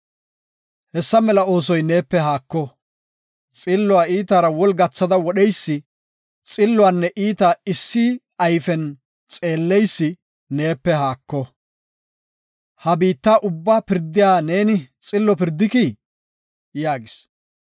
Hessa mela oosoy neepe haako; xilluwa iitaara woli gathada wodheysi, xilluwanne iita issi ayfiyan xeeleysi neepe haako. Ha biitta ubba pirdiya neeni xillo pirdikii?” yaagis.